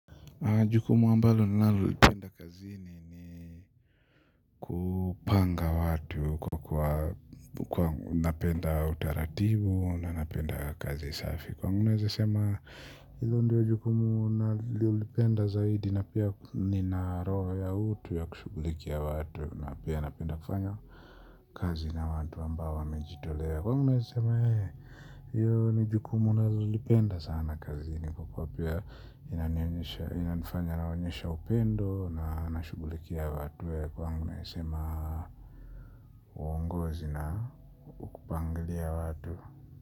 Na jukumu ambalo ninalolipenda kazini ni kupanga watu kwa kuwa napenda utaratibu na napenda kazi safi kwangu naeza sema ilo ndio jukumu nalolipenda zaidi na pia ni na roho ya utu ya kushughulikia watu na pia napenda kufanya kazi na watu ambao wamejitolea kwa hiyo naeza sema hee hiyo ni jukumu nalolipenda sana kazini kwa kuwa pia inanifanya naonyesha upendo na nashughulikia watu kwangu naezasema uongozi na ukupangilia watu.